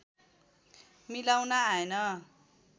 मिलाउन आएन